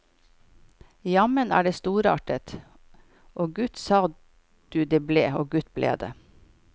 Jammen er det storartet, og gutt sa du det ble, og gutt ble det.